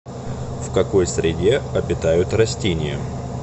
в какой среде обитают растения